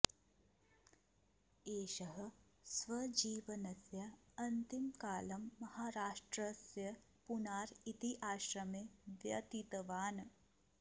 एषः स्वजीवनस्य अन्तिमकालं महाराष्ट्रस्य पुनार् इति आश्रमे व्यतीतवान्